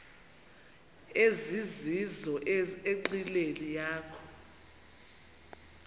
ezizizo enqileni yakho